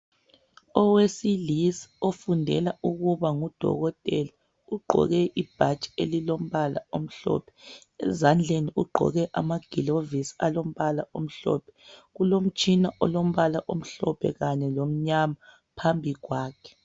Owesilisa ofundela ukuba ngudokotela ugqoke ibhatshi elilombala omhlophe, ezandleni ugqoke amagilovisi alombala omhlophe. Kulomtshina olombala omhlophe kanye lomnyama phambi kwakhe.